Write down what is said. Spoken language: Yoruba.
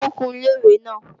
Wọ́n ń kun Ilé-ìwẹ̀ náà